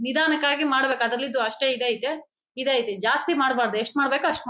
ನಿಧಾನವಕ್ಕಾಗಿ ಮಾಡ್ಬೇಕು ಅದ್ರಲ್ಲಿದ್ದು ಅಷ್ಟೇ ಇದ್ ಐತೆಇದ್ ಐತೆ ಜಾಸ್ತಿ ಮಾಡ್ಬಾರ್ದು ಎಷ್ಟ್ ಮಾಡಬೇಕೋ ಅಷ್ಟ್--